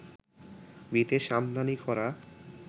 বিদেশ আমদানি করা